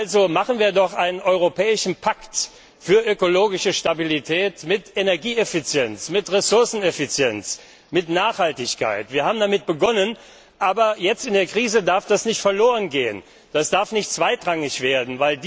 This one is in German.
Also schließen wir doch einen europäischen Pakt für ökologische Stabilität mit Energieeffizienz, mit Ressourceneffizienz, mit Nachhaltigkeit! Wir haben damit begonnen, und jetzt in der Krise darf das nicht verlorengehen, das darf nicht zweitrangig werden.